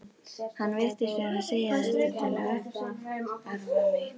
Hann virtist vera að segja þetta til að uppörva mig.